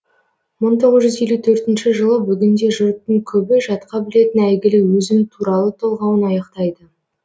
мың тоғыз жүз елу төртінші жылы бүгінде жұрттың көбі жатқа білетін әйгілі өзім туралы толғауын аяқтайды